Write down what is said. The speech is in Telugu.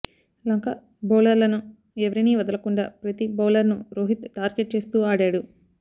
లంక బౌలర్లను ఎవరిని వదలకుండా ప్రతి బౌలర్ ను రోహిత్ టార్గెట్ చేస్తూ ఆడాడు